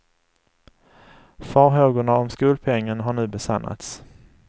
Farhågorna om skolpengen har nu besannats.